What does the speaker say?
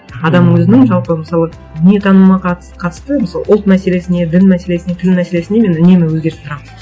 адам өзінің жалпы мысалы дүниетанымына қатысты мысалы ұлт мәселесіне дін мәселесіне тіл мәселесіне мен үнемі өзгеріп тұрамын